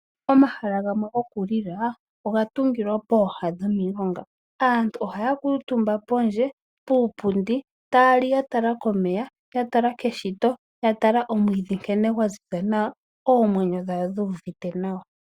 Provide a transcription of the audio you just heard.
Omahala gamwe goku li la oga tungilwa pooha dhomilonga. Aantu ohaya kuutumba pondje, puupundi taya li ya tala komeya ya tala keshito ya tala omwiidhi nkene gwa ziza nawa, oomwenyo dhawo dhu uvite nawa.